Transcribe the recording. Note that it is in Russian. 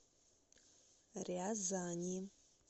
рязани